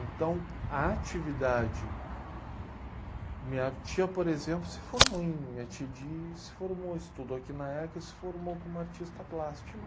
Então, a atividade... Minha tia, por exemplo, se formou em... Minha tia de, se formou, estudou aqui na eca se formou como artista plástico.